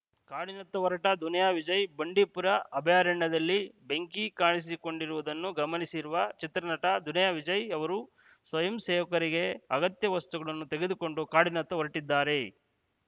ಕಾಡಿನತ್ತ ಹೊರಟ ದುನಿಯಾ ವಿಜಯ್‌ ಬಂಡೀಪುರ ಅಭಯಾರಣ್ಯದಲ್ಲಿ ಬೆಂಕಿ ಕಾಣಿಸಿಕೊಂಡಿರುವುದನ್ನು ಗಮನಿಸಿರುವ ಚಿತ್ರ ನಟ ದುನಿಯಾ ವಿಜಯ್‌ ಅವರು ಸ್ವಯಂಸೇವಕರಿಗೆ ಅಗತ್ಯ ವಸ್ತುಗಳನ್ನು ತೆಗೆದುಕೊಂಡು ಕಾಡಿನತ್ತ ಹೊರಟಿದ್ದಾರೆ